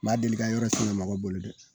Ma deli ka yɔrɔ siŋa mɔgɔ bolo dɛ.